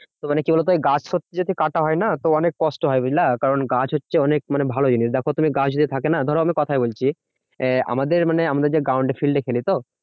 তো মানে কি বলোতো ওই গাছ কাটা হয় না? তো অনেক কষ্ট হয় বুঝলা? কারণ গাছ হচ্ছে অনেক মানে ভালো জিনিস দেখো তুমি গাছ যদি থাকে না, ধরো আমি কোথায় বলছি। আহ আমাদের মানে আমরা যে ground এ field এ খেলি তো